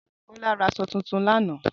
Bola ra aṣọ tuntun lánàá